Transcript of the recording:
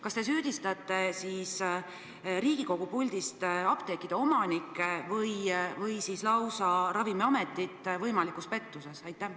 Kas te süüdistate Riigikogu puldist apteekide omanikke lausa võimalikus pettuses?